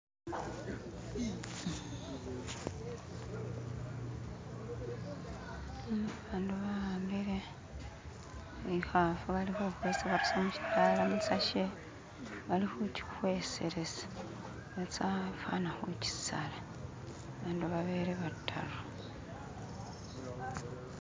Bano bakhambile ikhafu bali khukhwesa barusa muchitala musashe balikhuji khweselesa batsa ifana khujisala bandu babele bataru